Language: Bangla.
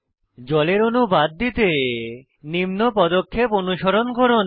জলের অণু বাদ দিতে নিম্ন পদক্ষেপ অনুসরণ করুন